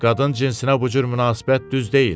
Qadın cinsinə bu cür münasibət düz deyil.